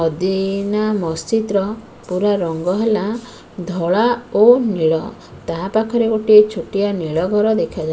ଅଦିନା ମସଜିଦ୍ ର ପୁରା ରଙ୍ଗ ହେଲା ଧଳା ଓ ନୀଳ ତା ପାଖରେ ଗୋଟିଏ ଛୋଟିଆ ନୀଳ ଘର ଦେଖାଯାଉ --